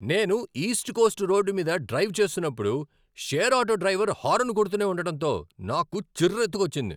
నేను East Coast road మీద drive చేస్తున్నప్పుడు, షేర్ ఆటో డ్రైవర్ హారన్ కొడుతూనే ఉండటంతో నాకు చిర్రెత్తుకొచ్చింది.